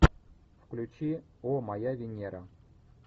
включи о моя венера